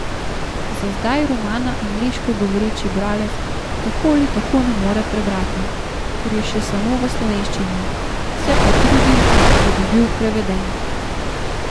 Za zdaj romana angleško govoreči bralec tako ali tako ne more prebrati, ker je še samo v slovenščini, se pa trudim, da bi bil preveden.